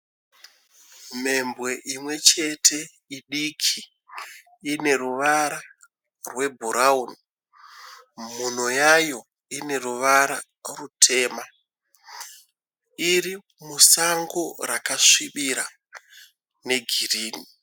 Mhembwe imwe chete idiki, ine ruvara rebrown, mhuno yayo ine ruvara rutema, iri musango rakasvibira negreen.